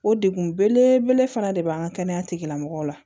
O degun belebele fana de b'an ka kɛnɛya tigilamɔgɔw la